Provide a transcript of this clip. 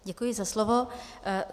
Děkuji za slovo.